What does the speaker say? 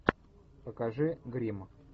покажи гримм